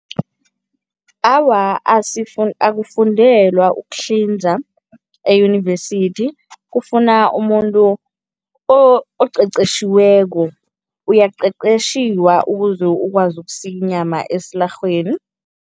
Awa, akufundelwa ukuhlinza eyunivesithi. Kufuna umuntu oqeqeshiweko. Uyaqeqeshiwa ukuze ukwazi ukusika inyama esilarhweni.